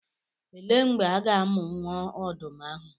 Elee mgbe a ga-amụ nwa ọdụm ahụ?